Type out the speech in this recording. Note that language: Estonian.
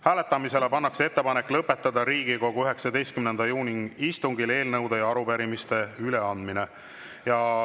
Hääletamisele pannakse ettepanek lõpetada Riigikogu 19. juuni istungil eelnõude ja arupärimiste üleandmine.